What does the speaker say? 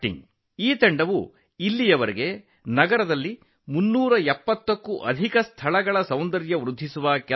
ಈ ತಂಡ ಇದುವರೆಗೆ ನಗರದಾದ್ಯಂತ 370ಕ್ಕೂ ಹೆಚ್ಚು ಸ್ಥಳಗಳನ್ನು ಸುಂದರಗೊಳಿಸಿದೆ